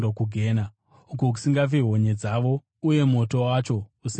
uko “ ‘kusingafi honye dzavo uye moto wacho usingadzimwi.’